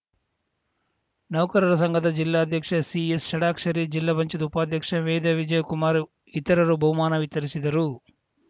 ನೌಕರರ ಸಂಘದ ಜಿಲ್ಲಾಧ್ಯಕ್ಷ ಸಿಎಸ್‌ ಷಡಾಕ್ಷರಿ ಜಿಲ್ಲಾ ಪಂಚಾಯತ್ ಉಪಾಧ್ಯಕ್ಷೆ ವೇದಾ ವಿಜಯ್‌ಕುಮಾರ್‌ ಇತರರು ಬಹುಮಾನ ವಿತರಿಸಿದರು